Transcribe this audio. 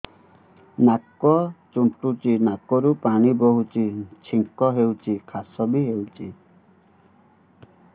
ନାକ ଚୁଣ୍ଟୁଚି ନାକରୁ ପାଣି ବହୁଛି ଛିଙ୍କ ହଉଚି ଖାସ ବି ହଉଚି